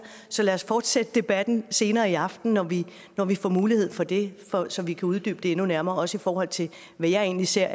så lad os fortsætte debatten senere i aften når vi når vi får mulighed for det så vi kan uddybe det endnu mere også i forhold til hvad jeg egentlig ser